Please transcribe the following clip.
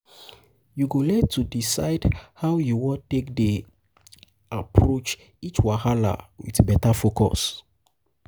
yu go learn to decide how yu um wan um take dey um take dey approach um each wahala wit beta focus